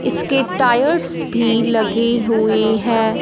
इसके टायर्स भी लगे हुएं हैं।